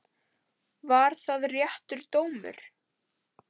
Var það réttur dómur?